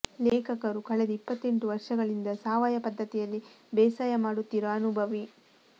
ಲೇಖಕರು ಕಳೆದ ಇಪ್ಪತ್ತೆಂಟು ವರ್ಷಗಳಿಂದ ಸಾವಯವ ಪದ್ಧತಿಯಲ್ಲಿ ಬೇಸಾಯ ಮಾಡುತ್ತಿರುವ ಅನುಭವಿ